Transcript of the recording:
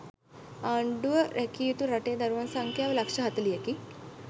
ආණ්ඩුව රැකිය යුතු රටේ දරුවන් සංඛ්‍යාව ලක්ෂ හතළිහකි.